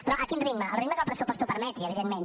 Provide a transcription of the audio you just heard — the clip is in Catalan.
però a quin ritme al ritme que el pressupost ho permeti evidentment